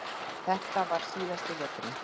Þetta var síðasti veturinn.